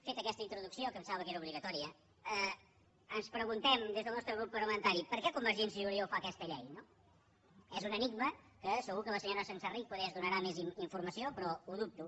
feta aquesta introducció pensava que era obligatòria ens preguntem des del nostre grup parlamentari per què convergència i unió fa aquesta llei és un enigma que segur que la senyora senserrich poder ens en donarà més informació però ho dubto